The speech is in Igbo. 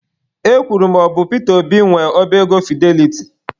E kwuru na ọ bụ Pita Obi nwe oba ego Fideliti.